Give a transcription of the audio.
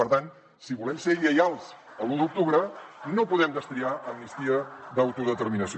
per tant si volem ser lleials a l’u d’octubre no podem destriar amnistia d’autodeterminació